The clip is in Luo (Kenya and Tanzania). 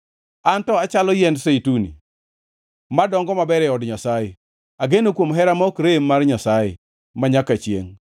An to achalo yiend zeituni madongo maber e od Nyasaye; ageno kuom hera ma ok rem mar Nyasaye manyaka chiengʼ.